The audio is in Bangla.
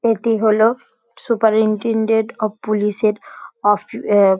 এটি হলো সুপারিনটেনডেন্ট অফ পুলিশ -এর অফ --